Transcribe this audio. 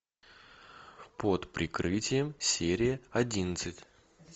под прикрытием серия одиннадцать